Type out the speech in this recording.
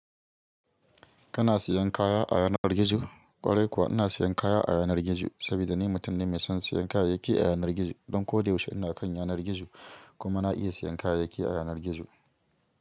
Kana siyan kaya a yanar gizo? Kwarai kuwa ina siyan kaya a yanar gizo sabida ni mutum ne mai son siyan kayayyaki a yanar gizo. Don koda yaushe ina kan yanar gizo kuma na iya siyan kayayyaki a yanar gizo.